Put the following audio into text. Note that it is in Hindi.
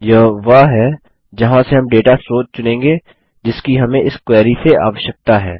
यह वह है जहाँ से हम डेटा स्रोत चुनेंगे जिसकी हमें इस क्वेरी से आवश्यकता है